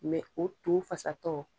o to fasatɔ